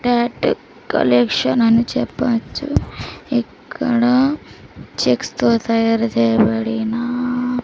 tattoo collection అని చెప్పవచ్చు ఎక్కడ చెక్స్ తో తయారు చేయబడినా --